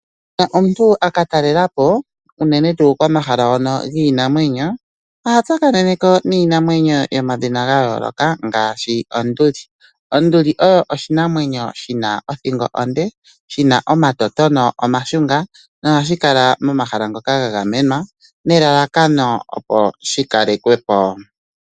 Uuna omuntu akatalela po unene tuu komahala hono giinamwenyo oha tsakanene ko niinamwenyo yomadhina ga yooloka ngaashi onduli. Onduli oyo oshinamwenyo shina othingo onde, shina omatotono omashunga nohashi kala momahala ngoka ga gamenwa nelalakano opo shi kalekwe po.